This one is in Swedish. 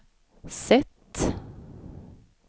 sätt